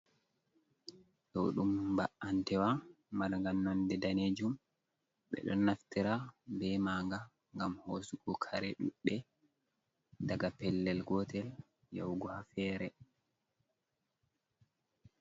Ɗo ɗum ba antewa marga nonde danejum, ɓeɗon naftira be manga ngam hosugo kare ɗuɗɗe daga pellel gotel yahugo ha fere.